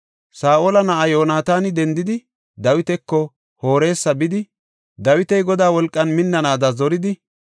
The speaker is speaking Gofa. Saa7ola na7aa Yoonataani dendidi, Dawitako Horesa bidi Dawiti Godaa wolqan minnanaada zoridi,